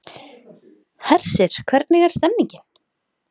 Hersir, hvernig er stemningin?